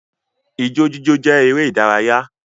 Ijó jíjó jẹ́ eré ìdárayá